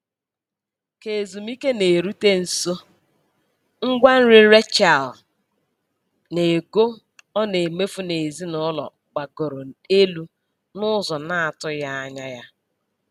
Ka ezumiike na-erute nso, ngwa nri Rachel na ego ọ na-emefu n'ezinụlọ gbagoro elu n'ụzọ na-atụghị anya ya.